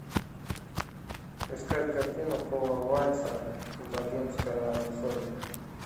искать картину пола вайца богемская рапсодия